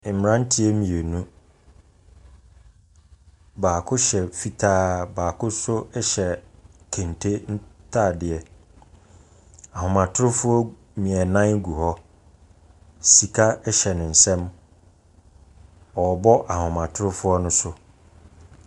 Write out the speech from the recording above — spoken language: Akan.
Mmranteɛ mmienu, baako hyɛ fitaa, baako so hyɛ keente ntaadeɛ. Ahomatrofoɔ nan gu hɔ. Sika hyɛ ne nsam. Ɔrebɔ ahomatrofoɔ no so.